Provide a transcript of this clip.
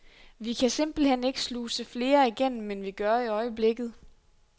Vi kan simpelthen ikke sluse flere igennem, end vi gør i øjeblikket.